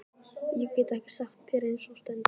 Ég get ekki sagt þér það eins og stendur.